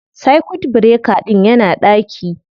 Circuit breaker ɗin yana ɗaki